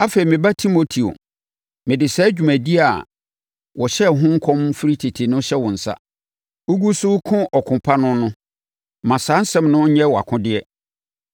Afei, me ba Timoteo, mede saa dwumadie a wɔhyɛɛ ho nkɔm firi tete no hyɛ wo nsa. Wogu so reko ɔko pa no no, ma saa nsɛm no nyɛ wʼakodeɛ,